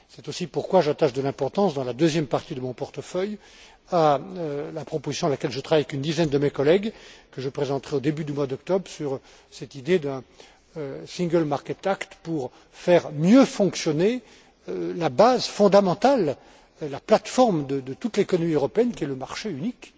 C'est la raison pour laquelle j'attache de l'importance, dans la deuxième partie de mon portefeuille, à la proposition à laquelle je travaille avec une dizaine de mes collègues, et que je présenterai au début du mois d'octobre, sur cette idée d'un single market act afin de mieux faire fonctionner la base fondamentale, la plate forme de toute l'économie européenne qu'est le marché unique.